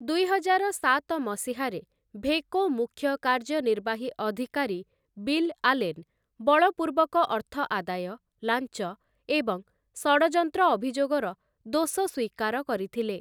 ଦୁଇହଜାର ସାତ ମସିହାରେ, ଭେକୋ ମୁଖ୍ୟ କାର୍ଯ୍ୟନିର୍ବାହୀ ଅଧିକାରୀ ବିଲ୍ ଆଲେନ୍, ବଳପୂର୍ବକ ଅର୍ଥ ଆଦାୟ, ଲାଞ୍ଚ ଏବଂ ଷଡ଼ଯନ୍ତ୍ର ଅଭିଯୋଗର ଦୋଷ ସ୍ଵୀକାର କରିଥିଲେ ।